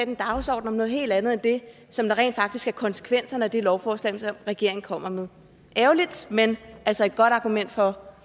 en dagsorden om noget helt andet end det som rent faktisk er konsekvenserne af det lovforslag regeringen kommer med ærgerligt men altså et godt argument for